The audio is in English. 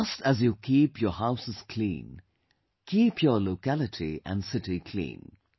Just as you keep your houses clean, keep your locality and city clean